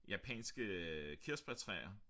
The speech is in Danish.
Japanske øh kirsebærtræer